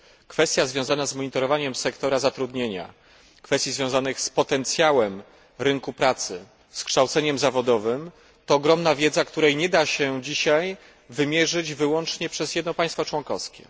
Kwestie związane z monitorowaniem sektora zatrudnienia, z potencjałem rynku pracy, z kształceniem zawodowym, to ogromna wiedza, której nie da się dzisiaj wymierzyć wyłącznie przez jedno państwo członkowskie.